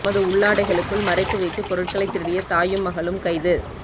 தமது உள்ளாடைகளுக்குள் மறைத்து வைத்து பொருட்களை திருடிய தாயும் மகளும் கைது